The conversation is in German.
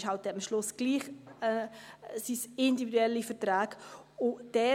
Es sind am Ende dann eben doch individuelle Verträge.